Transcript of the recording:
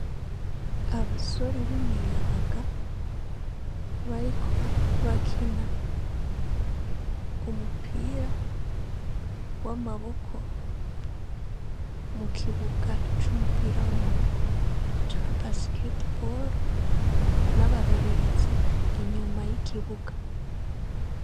abasore b'imiyabaga bariko bakina umupira w'amaboko mu kibuga c'umupira w'amaboko ca Basketball n'abarorerezi inyuma y'ikibuga.